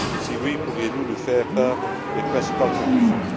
Si oui, pourriez vous nous faire part de ses principales conclusions?